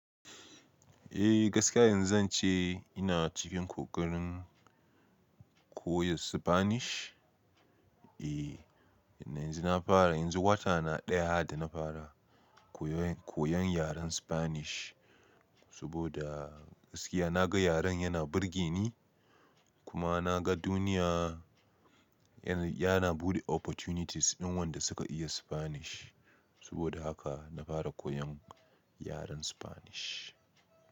Eh gaskiya yanzu zance ina cikin kokarin koyon Spanish. Eh, yanzu na fara yanzu wata na ɗaya da na fara koyon, koyon yaren Spanish. Saboda gaskiya na ga yaren yana burge ni kuma na ga duniya, yana buɗe opportunities din wanda suka iya Spanish. Saboda haka na fara koyon yaren Spanish.